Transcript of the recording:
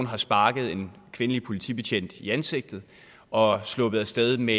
har sparket en kvindelig politibetjent i ansigtet og er sluppet af sted med